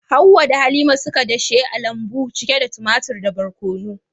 Hawwa da Halima suka dashe a lambu cike da tumatur da barkono.